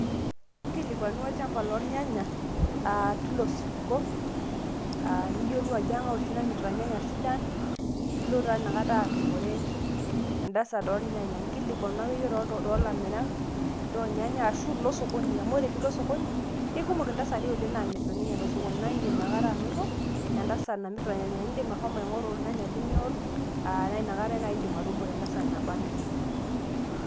inkilikuanu olchampa loornyanya, teilo supuko. niyiolou ajo keng'ae oshi namirta inyanya sidan. nilo taa ina kata atumore entasat oornyanya. inkilikuanu akeyie toolamirak loornyanya, ashu ilo sokon, amu ore pee ilo sokoni, keikumok intasati oleng naamirta inyanya te sokoni. naa idim inakata anoto entasat, namirta irnyanya. idim ashomo aingoru irnyanya linyor. naa inakata naaji idim ashomo anoto irnyanya linyor.